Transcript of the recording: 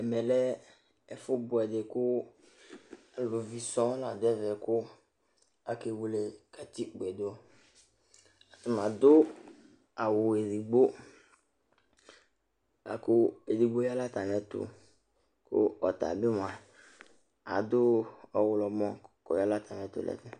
Ɛmɛ lɛ ɛfʋ bʋɛ kʋaluvi sɔ la dʋ ɛvɛ